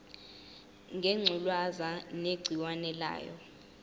ngengculazi negciwane layo